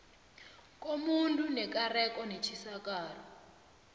komuntu nekareko netjisakalo